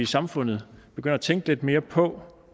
samfundet begynder at tænke lidt mere på